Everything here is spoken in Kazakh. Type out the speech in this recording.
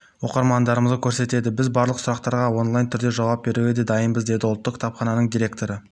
оқырмандарымызға көмектеседі біз барлық сұрақтарға онлайн түрінде жауап беруге де дайынбыз деді ұлттық кітапхананың директоры